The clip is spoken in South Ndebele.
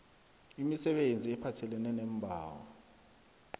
imisebenzi ephathelene neembawo